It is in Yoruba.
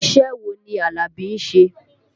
Iṣẹ́ wo ni Alabi ń ṣe?